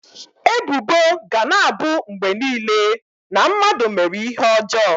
Ebubo ga na-abụ mgbe niile na mmadụ mere ihe ọjọọ.